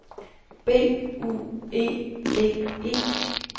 B U E D E